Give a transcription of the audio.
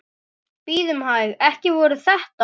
Bíðum hæg. ekki voru þetta?